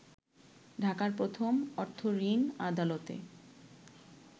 ঢাকার প্রথম অর্থঋণ আদালতে